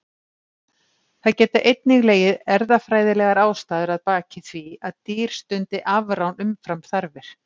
Það geta einnig legið erfðafræðilegar ástæður að baki því að dýr stundi afrán umfram þarfir.